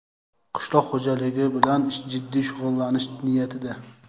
qishloq xo‘jaligi bilan jiddiy shug‘ullanish niyatida.